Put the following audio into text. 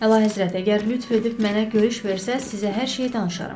Əlahəzrət, əgər lütf edib mənə görüş versəz, sizə hər şeyi danışaram.